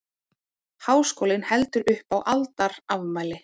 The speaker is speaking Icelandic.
Háskólinn heldur upp á aldarafmæli